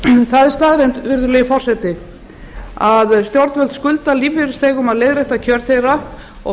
það er staðreynd virðulegi forseti að stjórnvöld skulda lífeyrisþegum leiðréttingu á kjörum þeirra og að